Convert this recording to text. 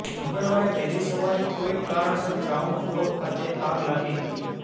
મંગળવારે વહેલી સવારે કોઈક કારણસર ગ્રાઉન્ડ ફ્લોર ખાતે આગ લાગી હતી